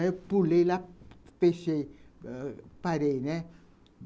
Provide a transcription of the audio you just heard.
Aí eu pulei lá, fechei, parei, né.